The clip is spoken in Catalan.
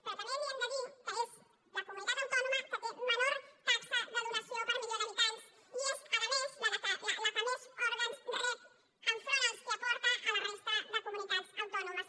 però també li hem de dir que és la comunitat autònoma que té menor taxa de donació per milió d’habitants i és a més la que més òrgans rep enfront dels que aporta a la resta de comunitats autònomes